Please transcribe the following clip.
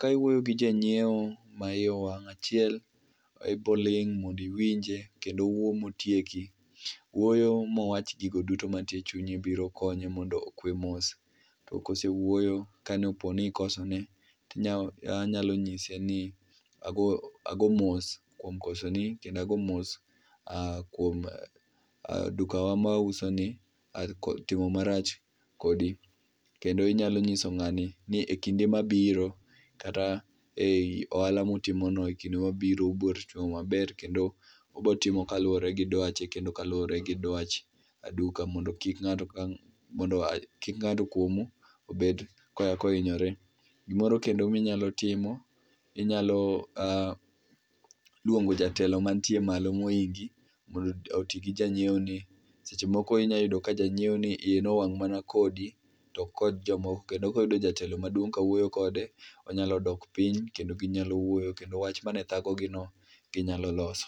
Kawuoyo gi janyiewo ma iye owang' ,achiel abo ling mondo iwinje kendo owuo motieki, wuoyo mowach gigo duto mantie chunye biro konye mondo okwe mos, to kose wuoyo kane opo ni ikosone anyalo nyise ni ago mos kuom kosoni kendo ago mos kuom dukawa mawauso ni timo marach kodi. Kendo inyalo nyiso ngani ni e kinde mabiro kata ei ohala mutimo no e kinde mabiro ubo rito maber kendo ubo timo kaluore gi dwache kendo kaluore gi dwach duka mondo kik ngato, kik ngato kuomu bed kahinyore. Gimoro kendo minyalo timo ,inyalo luongo jatelo mantie malo mohingi mondo otigi janyiewo ni, sech emoko inya yudo ni janyiewo ni iye nowang mana kodi to kendo koyudo jatelo maduong kawuoyo kode onyalo dok piny kendo ginyalo wuoyo kendo wach mane thago gi no ginyalo loso